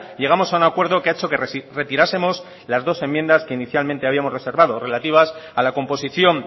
llegamos a un acuerdo que ha hecho que retirásemos las dos enmiendas que inicialmente habíamos reservado relativas a la composición